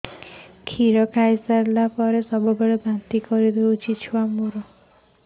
କ୍ଷୀର ଖାଇସାରିଲା ପରେ ସବୁବେଳେ ବାନ୍ତି କରିଦେଉଛି